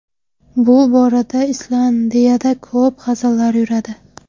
Bu borada Islandiyada ko‘p hazillar yuradi.